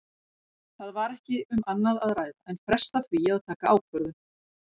Það var ekki um annað að ræða en fresta því að taka ákvörðun.